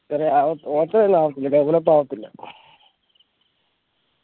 ഒച്ചറെൽ ആവത്തില്ല develop ആവത്തില്ല